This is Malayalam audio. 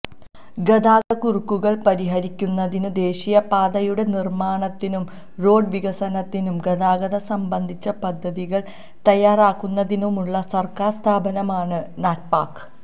ഗതാഗതക്കുരുക്കുകൾ പരിഹരിക്കുന്നതിനും ദേശീയപാതയുടെ നിർമ്മാണത്തിനും റോഡ് വികസനത്തിനും ഗതാഗതം സംബന്ധിച്ച പദ്ധതികൾ തയ്യാറാക്കുന്നതിനുമുള്ള സർക്കാർ സ്ഥാപനമാണ് നാറ്റ്പാക്